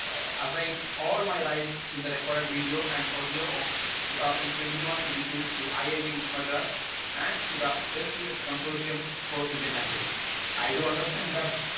speaker 1 assign all my rights in the records video and audio of two thousand twenty one twenty two I I T Madras and to the S to S consortium for Indian languages I to understand that